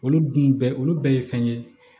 Olu dun bɛɛ olu bɛɛ ye fɛn ye